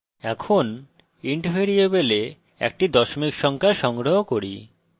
এখন int ভ্যারিয়েবলে একটি দশমিক সংখ্যা সংগ্রহ করি